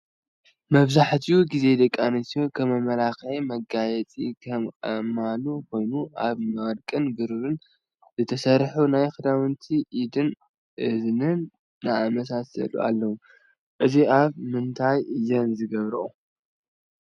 መብዛሕቲኡ ግዜ ደቂ ኣንስትዮ ከም መመላኪዕን መጋየፅን ዝጥቀማሉ ኮይነን ካብ ወርቅን ብርን ዝተሰርሑን ናይ ክሳድን ኢድን እዝንን ዝኣመሳሳሉ ኣለው። እዙይ ኣብ ምንታይ እየን ዝገብረኦ?